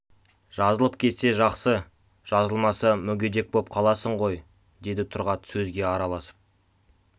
жазылып кетсе жақсы жазылмаса мүгедек боп қаласың ғой деді тұрғат сөзге араласып